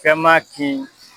Fɛn man kin.